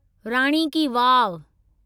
राणी ki वाव